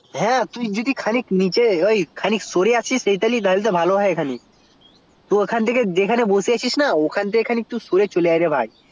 হ্যা তুই যদি খানিক নিচে বা এইদিকে সরে আসিস তাহলে তো ভালো হয় তো তুই যে এখানে বসে আছিস ওই খান থেকে তুই খানিক সরে আই